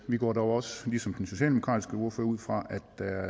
vi går dog også ligesom den socialdemokratiske ordfører ud fra